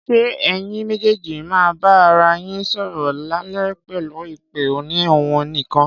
Ṣé ẹyin méjèèjì má bà ara yín sọ̀rọ̀ lálẹ́ pẹ̀lú ìpè òní ohùn nìkan